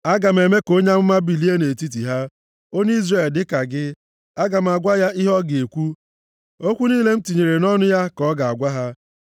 Aga m eme ka onye amụma bilie nʼetiti ha, onye Izrel dịka gị. Aga m agwa ya ihe ọ ga-ekwu, okwu niile m tinyere nʼọnụ ya ka ọ ga-agwa ha.